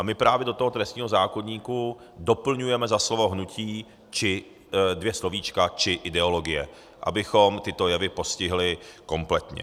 A my právě do toho trestního zákoníku doplňujeme za slovo "hnutí" dvě slovíčka "či ideologie", abychom tyto jevy postihli kompletně.